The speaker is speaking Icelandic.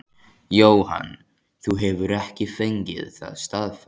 Jóhann: Þú hefur ekki fengið það staðfest?